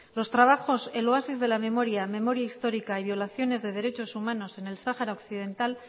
los trabajos el oasis de la memoria memoria histórica y violaciones de derechos humanos en el sáhara occidental